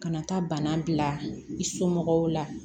Ka na taa bana bila i somɔgɔw la